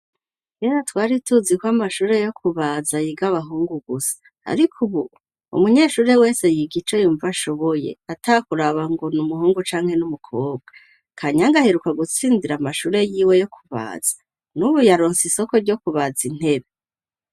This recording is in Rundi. Kera twari tuzi kw' amashure yo kubaza yiga abahungu gusa ,ariko ubu umunyeshuri wese yiga ico yumva ashoboye ,atakuraba ngo n' umuhungu canke n'umukobwa .Kanyange aheruka gutsindira amashure y'iwe yo kubaza, n'ubu yaronse isoko ryo kubaza intebe.